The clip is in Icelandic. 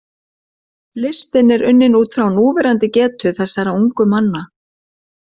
Listinn er unninn út frá núverandi getu þessara ungu manna.